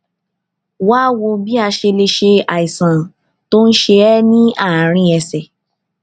wá a wò bí a ṣe lè ṣe àìsàn tó ń ṣe é ní àárín ẹsè